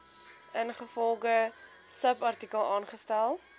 ingevolge subartikel aangestel